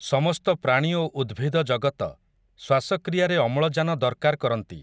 ସମସ୍ତ ପ୍ରାଣୀ ଓ ଉଦ୍ଭିଦ ଜଗତ, ଶ୍ୱାସକ୍ରିୟାରେ ଅମ୍ଳଜାନ ଦରକାର୍ କରନ୍ତି ।